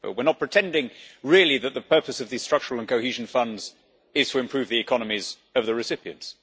We are not pretending really that the purpose of these Structural and Cohesion Funds is really to improve the economies of the recipients.